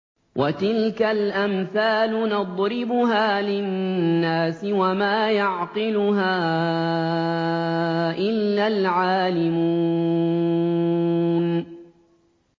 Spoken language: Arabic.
وَتِلْكَ الْأَمْثَالُ نَضْرِبُهَا لِلنَّاسِ ۖ وَمَا يَعْقِلُهَا إِلَّا الْعَالِمُونَ